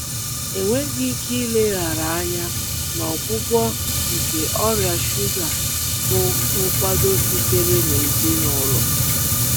Enweghị ike ileghara anya na ọgwụgwọ um nke ọrịa shuga bụ nkwado sitere na ezinụlọ